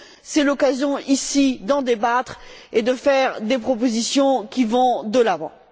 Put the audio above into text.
C'est l'occasion ici d'en débattre et de faire des propositions qui vont de l'avant.